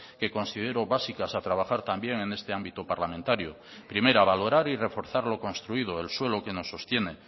que considero básicas a trabajar también en este ámbito parlamentario primera valorar y reforzar lo construido el suelo que nos sostiene